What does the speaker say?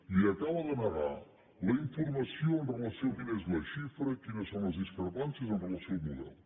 li acaba de negar la informació amb relació a quina és la xifra quines són les discrepàncies amb relació al model